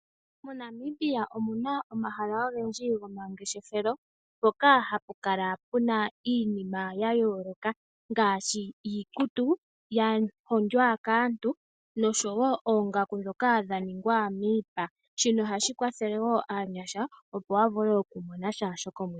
MoNamibia omu na omahala ogendji gomangeshefelo mpoka hapu kala pu na iinima ya yooloka ngaashi iikutu ya hondjwa kaantu oshowo oongaku ndhoka dha ningwa miipa, oha shi kwathele wo aanyasha ya vule okumonasha shokomwedhi.